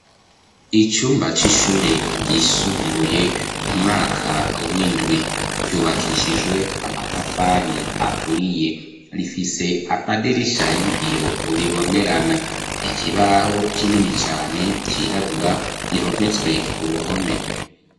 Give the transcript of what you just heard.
Icumba, c'ishure ryisumbuye, umwaka w'indwi; yubakishijwe amatafari, aturiye, rifise amadirisha y'ibiyo, bibonerana; ikibaho, kinini cane, cirabura, gihometswe ku ruhome.